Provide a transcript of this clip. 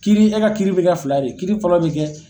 Kiiri e ka kiiri bɛ kɛ fila de ye kiiri fɔlɔ bɛ kɛ